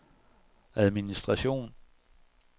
administration